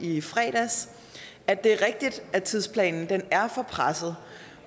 i fredags at det er rigtigt at tidsplanen er for presset